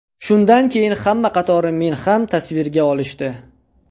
Shundan keyin hamma qatori meni ham tasvirga olishdi.